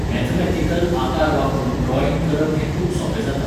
Mathematical आकार वापरून drawing करप हें खूब सोंपें जाता.